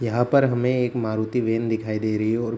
यहाँ पर हमे एक मारुती वैन दिखाई दे रही हैं और --